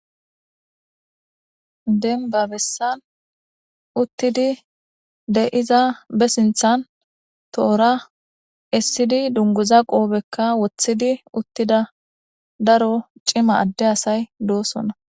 Demibba bessani utidi deyiza bee sinithani torra essidi dunguza qobeka wothidi utidda darro cima ade asayi dossona